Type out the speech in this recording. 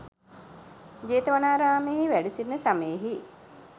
ජේතවනාරාමයෙහි වැඩසිිටින සමයෙහි